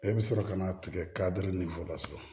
E bɛ sɔrɔ ka na tigɛ ka di la so